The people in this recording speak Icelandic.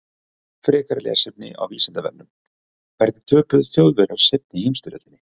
Frekara lesefni á Vísindavefnum: Hvernig töpuðu Þjóðverjar seinni heimsstyrjöldinni?